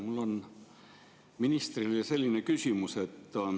Mul on ministrile selline küsimus.